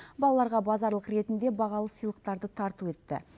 балаларға базарлық ретінде бағалы сыйлықтарды тарту етті